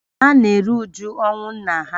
Ha na-eru uju ọnwụ nna ha